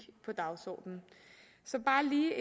på dagsordenen så bare lige